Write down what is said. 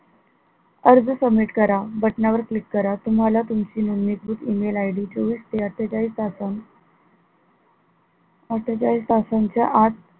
अर्ज submit करा. बटनावर click करा तुम्हाला तुमची नोंदणीकृत email ID चोवीस ते अट्ठेचाळीस तासात अट्ठेचाळीस तासांच्या आत